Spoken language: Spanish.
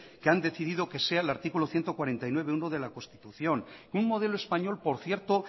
que han decidido que sea el artículo ciento cuarenta y nueve punto uno de la constitución un modelo español por cierto